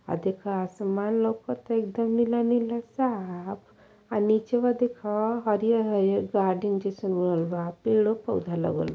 आ देखा आसमान लोकत है एक दम नीला नीला साफ अ निचवा देखो हरियार-हरियर गार्डन जैसन बनल बा पेड़ पौधा लगल --